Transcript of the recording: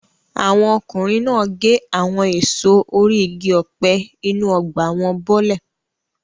Àwọn ọkùnrin náà gé àwọn èso orí igi ọ̀pẹ inú ọgbà wọn bọ́lẹ̀.